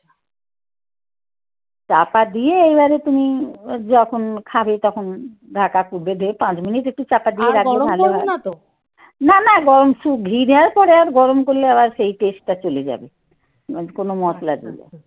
আচ্ছা. চাপা দিয়ে এবারে তুমি যখন খাবে তখন ঢাকা দিয়ে পাঁচ মিনিট একটু চাপা দিয়ে রাখলে ভালো হতো না তো. না না গরম সব ঘি দেওয়ার পরে আর গরম করলে আবার সেই taste চলে যাবে কোন মশলা আচ্ছা গরম করার দরকার নেই